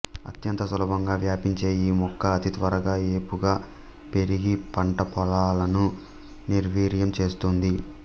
అత్యంత సులభంగా వ్యాపించే ఈ మొక్క అతి త్వరగా ఏపుగా పెరిగి పంట పొలాలను నిర్వీర్యం చేస్తుంది